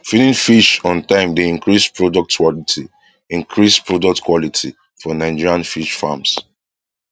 feeding fish on time dey increase product quality increase product quality for nigerian fish farms